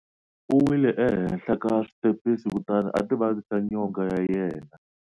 U wile ehenhla ka switepisi kutani a ti vavisa nyonga ya yena.